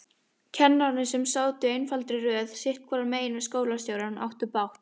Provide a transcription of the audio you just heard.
Kennararnir, sem sátu í einfaldri röð sitthvoru megin við skólastjórann, áttu bágt.